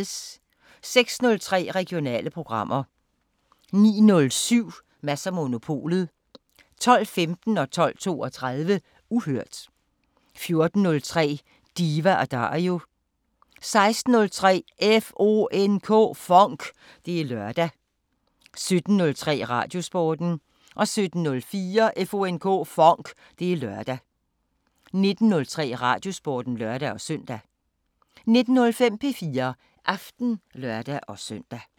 06:03: Regionale programmer 09:07: Mads & Monopolet 12:15: Uhørt 12:32: Uhørt 14:03: Diva & Dario 16:03: FONK! Det er lørdag 17:03: Radiosporten 17:04: FONK! Det er lørdag 19:03: Radiosporten (lør-søn) 19:05: P4 Aften (lør-søn)